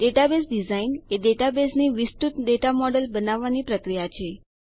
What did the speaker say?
database design એ ડેટાબેઝની વિસ્તૃત ડેટા મોડેલ બનાવવાની પ્રક્રિયા છે